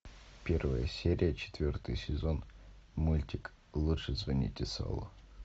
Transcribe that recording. первая серия четвертый сезон мультик лучше звоните солу